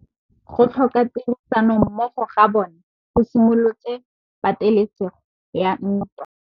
Go tlhoka tirsanommogo ga bone go simolotse patêlêsêgô ya ntwa.